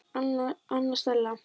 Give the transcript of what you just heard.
Anna Stella.